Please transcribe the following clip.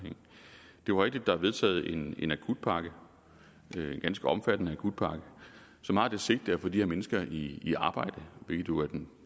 jo rigtigt at der er vedtaget en en akutpakke en ganske omfattende akutpakke som har det sigte at få de her mennesker i arbejde hvilket jo er den